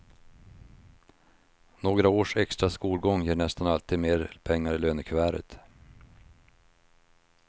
Några års extra skolgång ger nästan alltid mer pengar i lönekuvertet.